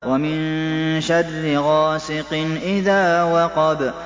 وَمِن شَرِّ غَاسِقٍ إِذَا وَقَبَ